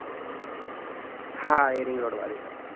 હા એ ring road વાળી.